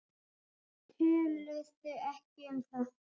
Töluðu ekki um það.